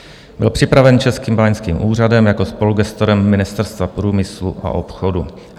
Byl připraven Českým báňským úřadem jako spolugestorem Ministerstva průmyslu a obchodu.